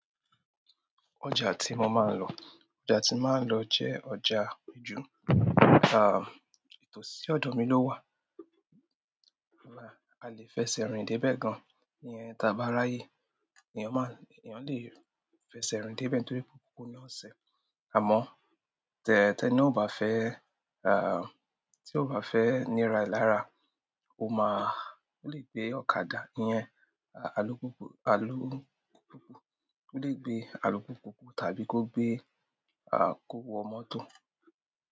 Ọjà tí mo máa ń lọ, ọjà tí máa ń lọ jẹ́ ọjà Ìjú. Ìtòsí ọ̀dọ̀ mi ló wà. A lè fẹsẹ̀ rìn débẹ̀ gan-an. Iyẹn, táa bá ráyè, èèyàn máa ń, èèyàn lè fẹsẹ̀ rìn débẹ̀ nítorí pé kò nasẹ̀. Àmọ́ tẹ tẹ́ni náà ò bá fẹ́, tí ò bá fẹ́ nira ẹ̀ lára, o máa, o lè gbé ọ̀kadà ìyẹn, alúpùpù alú, o lè gbé alùpùpù tàbí kó gbé, kó wọ mọ́tò.